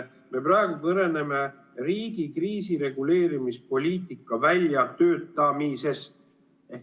Me praegu kõneleme riigi kriisireguleerimispoliitika väljatöötamisest.